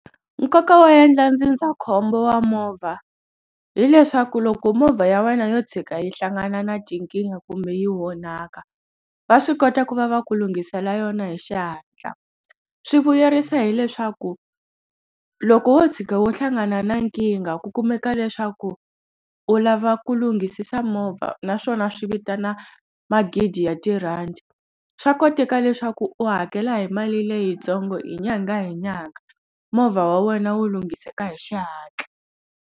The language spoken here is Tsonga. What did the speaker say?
Nkoka wa endla ndzindzakhombo wa movha hileswaku loko movha ya wena yo tshika yi hlangana na tinkingha kumbe yi onhaka va swi kota ku va va ku lunghisela yona hi xihatla swi vuyerisa hileswaku loko wo tshuka wo hlangana na nkingha ku kumeka leswaku u lava ku lunghisisa movha naswona swi vitana magidi ya tirhandi swa koteka leswaku u hakela hi mali leyitsongo hi nyangha hi nyangha movha wa wena wu lunghiseka hi xihatla.